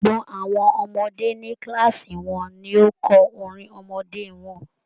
Gbogbo àwọn ọmọdé ní kíláàsì wọn ni ó kọ orin ọmọdé wọn.